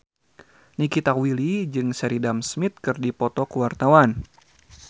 Nikita Willy jeung Sheridan Smith keur dipoto ku wartawan